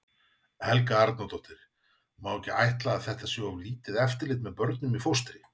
Helga Arnardóttir: Má ekki ætla að þetta sé of lítið eftirlit með börnum í fóstri?